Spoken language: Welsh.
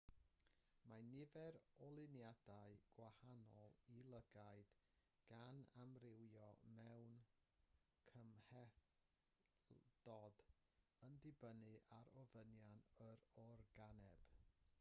mae nifer o luniadau gwahanol i lygaid gan amrywio mewn cymhlethdod yn dibynnu ar ofynion yr organeb